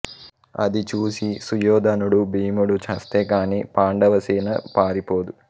అది చూసి సుయోధనుడు భీముడు చస్తే కాని పాండవసేన పారిపోదు